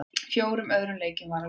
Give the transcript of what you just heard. Fjórum öðrum leikjum var að ljúka